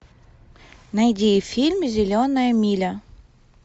найди фильм зеленая миля